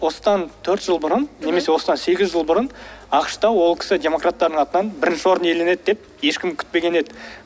осыдан төрт жыл бұрын немесе осыдан сегіз жыл бұрын ақш та ол кісі демократтардың атынан бірінші орын иеленеді деп ешкім күтпеген еді